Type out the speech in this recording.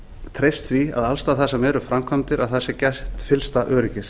treyst því að alls staðar þar sem eru framkvæmdir sé gætt fyllsta öryggis